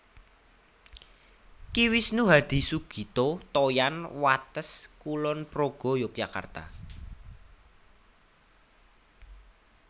Ki Wisnu Hadisugito Toyan Wates Kulon Progo Yogyakarta